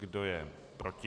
Kdo je proti?